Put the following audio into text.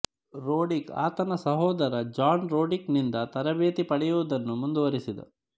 Roddick ಆತನ ಸಹೋದರ John Roddick ನಿಂದ ತರಬೇತಿ ಪಡೆಯುವುದನ್ನು ಮುಂದುವರೆಸಿದ